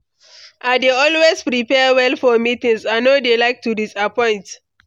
I dey always prepare well for meetings; I no dey like to disappoint.